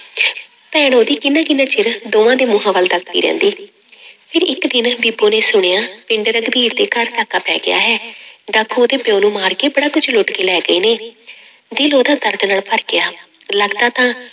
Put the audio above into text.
ਭੈਣ ਉਹਦੀ ਕਿੰਨਾ ਕਿੰਨਾ ਚਿਰ ਦੋਵਾਂ ਦੇ ਮੂੰਹਾਂ ਵੱਲ ਤੱਕਦੀ ਰਹਿੰਦੀ ਫਿਰ ਇੱਕ ਦਿਨ ਬੀਬੋ ਨੇ ਸੁਣਿਆ ਪਿੰਡ ਰਘਬੀਰ ਦੇ ਘਰ ਡਾਕਾ ਪੈ ਗਿਆ ਹੈ ਡਾਕੂ ਉਹਦੇ ਪਿਓ ਨੂੰ ਮਾਰ ਕੇ ਬੜਾ ਕੁੱਝ ਲੁੱਟ ਕੇ ਲੈ ਗਏ ਨੇ ਦਿਲ ਉਹਦਾ ਦਰਦ ਨਾਲ ਭਰ ਗਿਆ ਲੱਗਦਾ ਤਾਂ